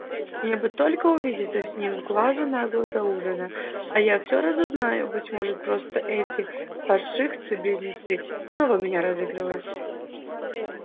мне бы только увидеться с ним с глазу на глаз до ужина а я все разузнаю быть может просто эти паршивцы-близнецы снова меня разыгрывают